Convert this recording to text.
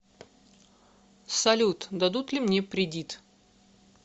салют дадут ли мне придит